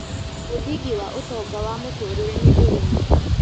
Mũthĩngĩ wa ũtonga wa mũtũrĩre nĩ ũrĩmĩ